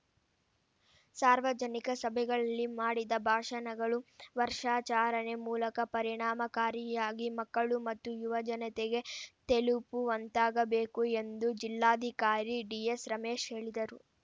ಸಾರ್ವಜನಿಕ ಸಭೆಗಳಲ್ಲಿ ಮಾಡಿದ ಭಾಷಣಗಳು ವರ್ಷಾಚರಣೆ ಮೂಲಕ ಪರಿಣಾಮಕಾರಿಯಾಗಿ ಮಕ್ಕಳು ಮತ್ತು ಯುವ ಜನತೆಗೆ ತೆಲುಪುವಂತಾಗಬೇಕು ಎಂದು ಜಿಲ್ಲಾಧಿಕಾರಿ ಡಿಎಸ್‌ ರಮೇಶ ಹೇಳಿದರು